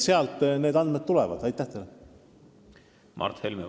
Mart Helme, palun!